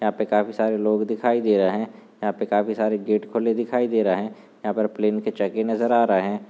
यहाँ पे काफी सारे लोग दिखाई दे रहे यहाँ पे काफी सारे गेट खुले दिखाई दे रहे यहाँ पर प्लेन के चक्के नजर आ रहे।